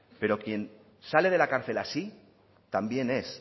pero quien sale de la cárcel así también es